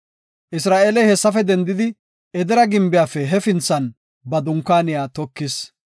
Isra7eeley hessafe dendidi Edera gimbiyafe hefinthan ba dunkaaniya tokis.